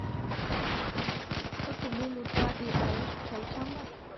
Kotubulutwua lpayeg telshamba